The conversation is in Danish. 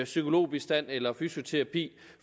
psykologbistand eller fysioterapi